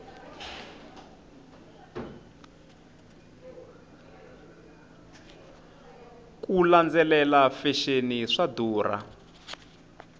ku landzelela fexeni swa durha